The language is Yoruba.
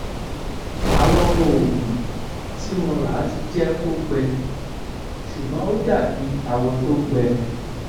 àwọn oògùn tí mo ra ti jẹ kó gbẹ ṣùgbọn ó dàbí awọ tó gbẹ